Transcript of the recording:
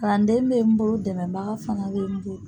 Kalanden bɛ n bolo dɛmɛbaga fana bɛ n bolo.